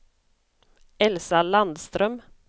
Elsa Landström